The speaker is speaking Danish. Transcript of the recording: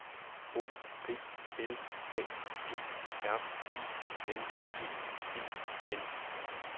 O P L A G R I N G E N